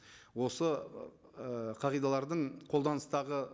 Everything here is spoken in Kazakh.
осы ыыы қағидалардың қолданыстағы